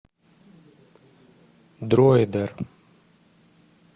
дроидер